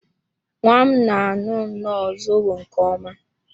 Nwa m na aṅụ nnọọ zobo nke ọma